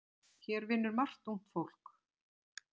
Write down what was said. Hér vinnur margt ungt fólk.